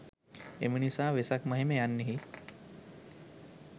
එම නිසා වෙසක් මහිම යන්නෙහි